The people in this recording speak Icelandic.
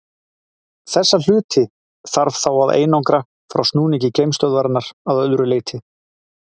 þessa hluti þarf þá að einangra frá snúningi geimstöðvarinnar að öðru leyti